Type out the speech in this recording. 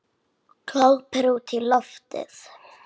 Glápir útí loftið.